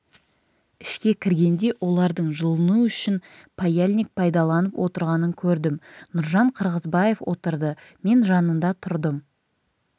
ішке кіргенде олардың жылыну үшін паяльник пайдаланып отырғанын көрдім нұржан қырғызбаев отырды мен жанында тұрдым